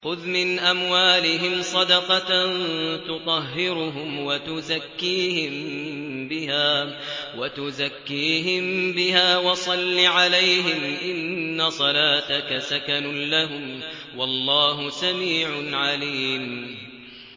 خُذْ مِنْ أَمْوَالِهِمْ صَدَقَةً تُطَهِّرُهُمْ وَتُزَكِّيهِم بِهَا وَصَلِّ عَلَيْهِمْ ۖ إِنَّ صَلَاتَكَ سَكَنٌ لَّهُمْ ۗ وَاللَّهُ سَمِيعٌ عَلِيمٌ